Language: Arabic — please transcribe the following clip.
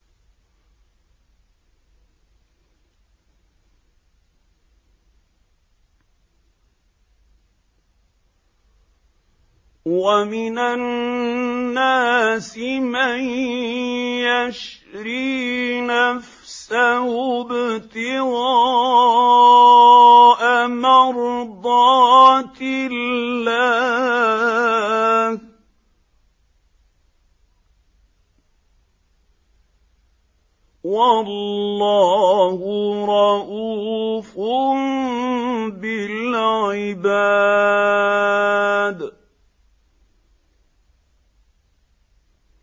وَمِنَ النَّاسِ مَن يَشْرِي نَفْسَهُ ابْتِغَاءَ مَرْضَاتِ اللَّهِ ۗ وَاللَّهُ رَءُوفٌ بِالْعِبَادِ